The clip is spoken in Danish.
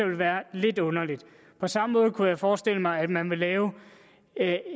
ville være lidt underligt på samme måde kunne jeg forestille mig at man vil lave